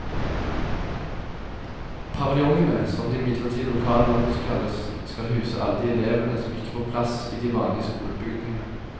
Paviljongene, som de midlertidige lokalene også kalles, skal huse alle de elevene som ikke får plass i de vanlige skolebygningene.